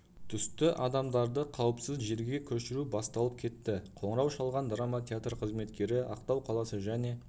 түсті адамдарды қауіпсіз жерге көшіру басталып кетті қоңырау шалған драма театр қызметкері ақтау қаласы және